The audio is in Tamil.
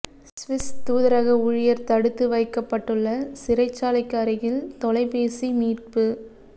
சுவிஸ் தூதரக ஊழியர் தடுத்து வைக்கப்பட்டுள்ள சிறைச்சாலைக்கு அருகில் தொலைபேசி மீட்பு